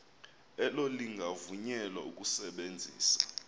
elo lingavunyelwa ukusebenzisa